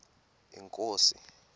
inkosi